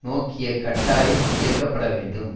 நோக்கிய கட்டாயம் இயக்கப்பட வேண்டும்